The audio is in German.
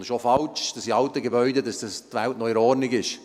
Es ist auch falsch, dass die Welt in alten Gebäuden noch in Ordnung ist.